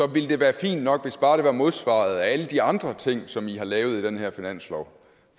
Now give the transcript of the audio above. ville det være fint nok hvis bare det var modsvaret af alle de andre ting som i har lavet i den her finanslov